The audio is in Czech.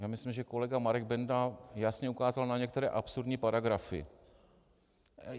Já myslím, že kolega Marek Benda jasně ukázal na některé absurdní paragrafy.